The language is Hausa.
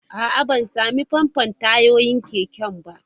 A'a, ban sami famfo tayoyin keken ba.